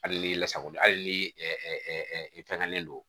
Hali n'i lasago hali ni i fɛngɛnnen don